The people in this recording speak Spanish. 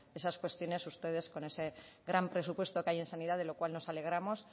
esas cuestiones ustedes con ese gran presupuesto que hay en sanidad de lo cual nos alegramos